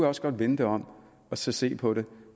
også godt vende det om og se på det